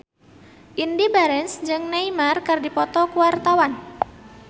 Indy Barens jeung Neymar keur dipoto ku wartawan